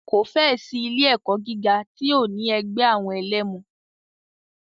Kò fẹ́ ẹ̀ sí ilé ẹ̀kọ́ gíga tí ò ní ẹgbẹ́ àwọn ẹlẹmu.